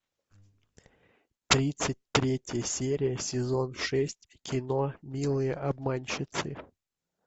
тридцать третья серия сезон шесть кино милые обманщицы